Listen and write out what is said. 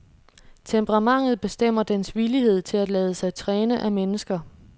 Temperamentet bestemmer dens villighed til at lade sig træne af mennesker.